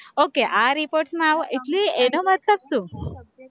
okay આ report માં આવો એટલે એનો મતલબ શું?